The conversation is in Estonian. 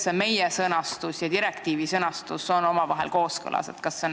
Kuidas meie sõnastus ja direktiivi sõnastus omavahel kooskõlas on?